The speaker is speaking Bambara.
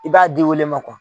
I b'a di o le ma